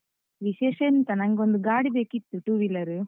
ವಿಶೇಷ ಎಂತ? ನಂಗೊಂದು ಗಾಡಿ ಬೇಕಿತ್ತು, two wheeler.